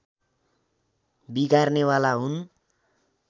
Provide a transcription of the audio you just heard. बिगार्नेवाला हुन्